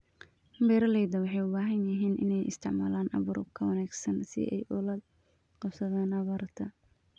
Beeralayda waxay u baahan yihiin inay isticmaalaan abuur ka wanaagsan si ay ula qabsadaan abaarta.